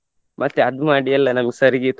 ಮತ್ತೆ hug ಮಾಡಿ ಎಲ್ಲ ನಮ್ಮ್ sir ಗೆ.